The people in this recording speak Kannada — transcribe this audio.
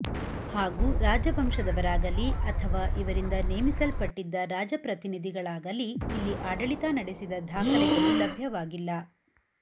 ಹಾಗೂ ರಾಜವಂಶದವರಾಗಲೀ ಅಥವಾ ಇವರಿಂದ ನೇಮಿಸಲ್ಪಟ್ಟಿದ್ದ ರಾಜ ಪ್ರತಿನಿಧಿಗಳಾಗಲೀ ಇಲ್ಲಿ ಆಡಳಿತ ನಡೆಸಿದ ದಾಖಲೆಗಳು ಲಭ್ಯವಾಗಿಲ್ಲ